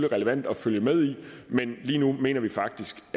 relevant at følge med i men lige nu mener vi faktisk